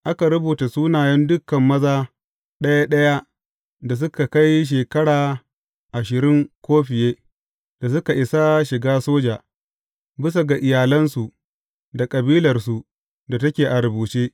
Aka rubuta sunayen dukan maza ɗaya ɗaya da suka kai shekara ashirin ko fiye da suka isa shiga soja, bisa ga iyalansu da kabilarsu da take a rubuce.